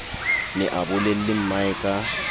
ne a bolelle mmae ka